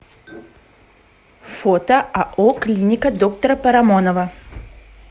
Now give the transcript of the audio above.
фото ао клиника доктора парамонова